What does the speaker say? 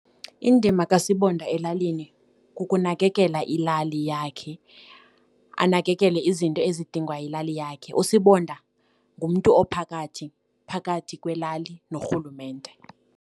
Indima kaSibonda elalini kukunakekela ilali yakhe, anakekele izinto ezidingwa yilali yakhe. USibonda ngumntu ophakathi phakathi kwelali norhulumente.